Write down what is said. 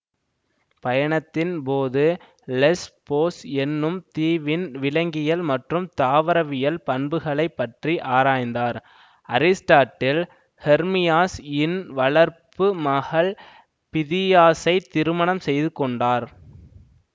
பயணத்தின் போது லெஸ்போஸ் என்னும் தீவின் விலங்கியல் மற்றும் தாவரவியல் பண்புகளை பற்றி ஆராய்ந்தார்அரிஸ்டாட்டில் ஹெர்மியாஸ் இன் வளர்ப்பு மகள் பிதியாஸைத் திருமணம் செய்துக்கொண்டார்